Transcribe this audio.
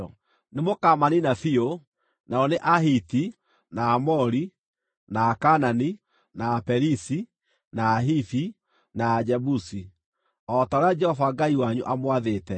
Mũkaamaniina biũ; andũ a Ahiti, na Aamori, na Akaanani, na Aperizi, na Ahivi, na Ajebusi o ta ũrĩa Jehova Ngai wanyu aamwathĩte.